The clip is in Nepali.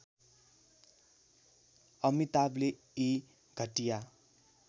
अमिताभले यी घटिया